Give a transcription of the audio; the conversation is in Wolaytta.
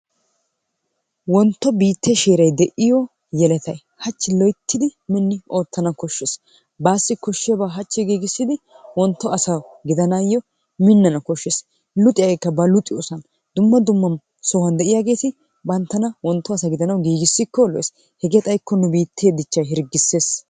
Wontto biittee sheeray de'iyo yeletay hachchi loyttidi minni oottana koshshees. Baassi koshshiyabaa hachchi giigissidi wontto asa gidanaayyo minnana koshshees. Luxiyageekka ba luxiyosan dumma dumma sohuwan de'iyageeti banttana wontto asa gidanawu giigissikko lo'ees hegee xaykko nu biittee dichchay hirggissees.